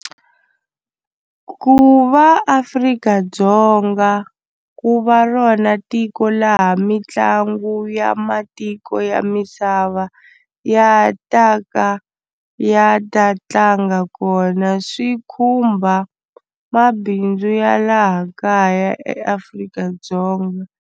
Ku va Afrika-Dzonga ku va rona tiko laha mitlangu ya matiko ya misava ya ta ka ya ta tlanga kona swi khumba mabindzu ya laha kaya eAfrika-Dzonga.